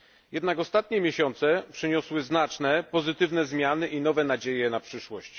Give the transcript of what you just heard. Jednak ostatnie miesiące przyniosły znaczne pozytywne zmiany i nowe nadzieje na przyszłość.